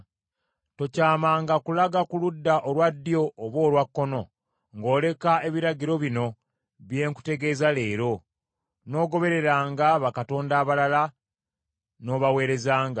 Tokyamanga kulaga ku ludda olwa ddyo oba olwa kkono, ng’oleka ebiragiro bino bye nkutegeeza leero, n’ogobereranga bakatonda abalala n’obaweerezanga.